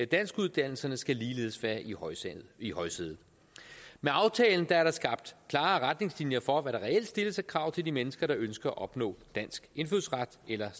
danskuddannelserne skal ligeledes være i højsædet i højsædet med aftalen er der skabt klare retningslinjer for hvad der reelt stilles af krav til de mennesker der ønsker at opnå dansk indfødsret eller